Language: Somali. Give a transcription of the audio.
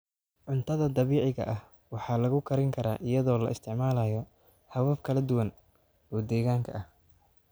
Cuntada dabiiciga ah waxaa lagu karin karaa iyadoo la isticmaalayo habab kala duwan oo deegaanka ah.